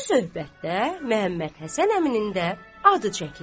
Bu söhbətdə Məhəmməd Həsən əminin də adı çəkildi.